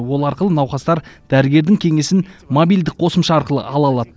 ол арқылы науқастар дәрігердің кеңесін мобильдік қосымша арқылы ала алады